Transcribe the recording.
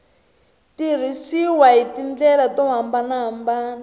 tirhisiwa hi tindlela to hambanahambana